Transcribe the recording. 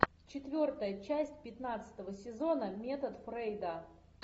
четвертая часть пятнадцатого сезона метод фрейда